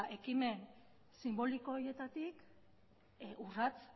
ekimen sinboliko horietatik urrats